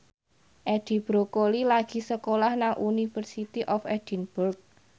Edi Brokoli lagi sekolah nang University of Edinburgh